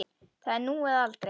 Það er nú eða aldrei.